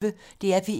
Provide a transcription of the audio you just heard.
DR P1